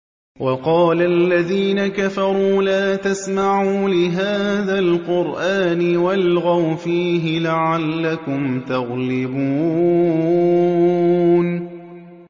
وَقَالَ الَّذِينَ كَفَرُوا لَا تَسْمَعُوا لِهَٰذَا الْقُرْآنِ وَالْغَوْا فِيهِ لَعَلَّكُمْ تَغْلِبُونَ